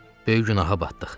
Böyük günaha batdıq.